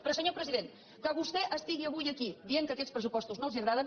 però senyor president que vostè estigui avui aquí dient que aquests pressupostos no els agraden